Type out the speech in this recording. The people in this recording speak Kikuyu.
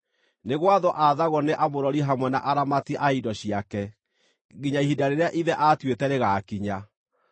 Nĩ gwathwo athagwo nĩ amũrori hamwe na aramati a indo ciake, nginya ihinda rĩrĩa ithe atuĩte rĩgaakinya.